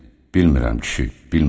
Bilmirəm kişi, bilmirəm.